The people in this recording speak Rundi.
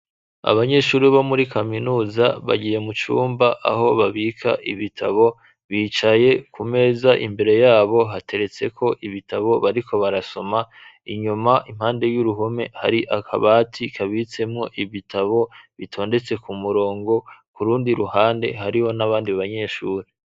Abanyeshuri bo muri kaminuza, bagiye mu cumba aho babika ibitabo, bicaye ,ku meza imbere yabo hateretse ko ibitabo, bariko barasoma ,inyuma impande y'uruhume ,hari akabati kabitsemwo ibitabo, bitondetse ku murongo ,kurundi ruhande hariho n'abandi banyeshuri.